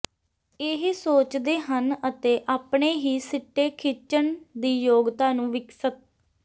ਇਹ ਸੋਚਦੇ ਹਨ ਅਤੇ ਆਪਣੇ ਹੀ ਸਿੱਟੇ ਖਿੱਚਣ ਦੀ ਯੋਗਤਾ ਨੂੰ ਵਿਕਸਤ